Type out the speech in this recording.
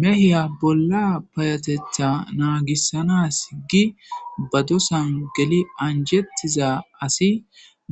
mehiya bolla payateta naagissanas gi ba dosan geli anjettiza asi